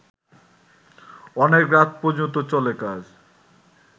অনেক রাত পর্যন্ত চলে কাজ